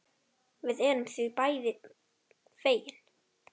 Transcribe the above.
Við erum því bæði fegin.